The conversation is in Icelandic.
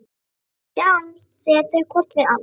Við sjáumst, segja þau hvort við annað.